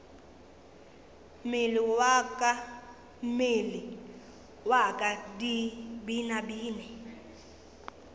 mmele wa ka di binabine